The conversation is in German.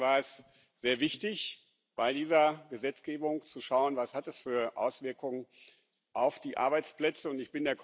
Deswegen war es sehr wichtig, bei dieser Gesetzgebung zu schauen, was das für Auswirkungen auf die Arbeitsplätze hat.